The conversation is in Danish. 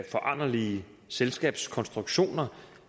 foranderlige selskabskonstruktioner